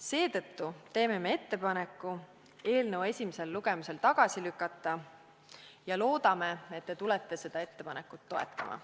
Seetõttu teeme ettepaneku eelnõu esimesel lugemisel tagasi lükata ja loodame, et te seda ettepanekut toetate.